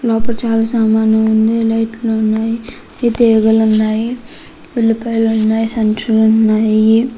లోపల చాలా సామాన్లు ఉన్నాయి.పౌషే లైట్ లు ఉన్నాయి. తీగలు ఉన్నాయి. ఉల్లిపాయలు ఉన్నాయి. సంచులు ఉన్నాయి.